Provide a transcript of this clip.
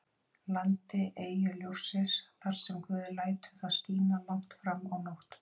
landi, eyju ljóssins, þar sem guð lætur það skína langt fram á nótt.